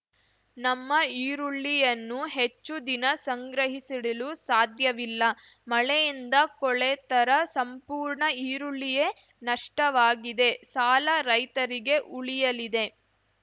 ನಮ್ಮ ಈರುಳ್ಳಿಯನ್ನು ಹೆಚ್ಚು ದಿನ ಸಂಗ್ರಹಿಸಿಡಲು ಸಾಧ್ಯವಿಲ್ಲ ಮಳೆಯಿಂದ ಕೊಳೆತರ ಸಂಪೂರ್ಣ ಈರುಳ್ಳಿಯೇ ನಷ್ಟವಾಗಿದೆ ಸಾಲ ರೈತರಿಗೆ ಉಳಿಯಲಿದೆ